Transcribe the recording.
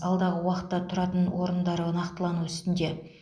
алдағы уақытта тұратын орындары нақтылану үстінде